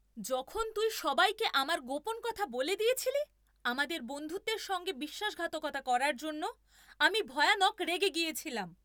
যখন তুই সবাইকে আমার গোপন কথা বলে দিয়েছিলি, আমাদের বন্ধুত্বের সঙ্গে বিশ্বাসঘাতকতা করার জন্য আমি ভয়ানক রেগে গিয়েছিলাম।